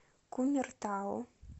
кумертау